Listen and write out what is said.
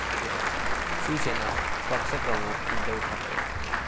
शिवसेना पक्षप्रमुख उद्धव ठाकरे.